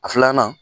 A filanan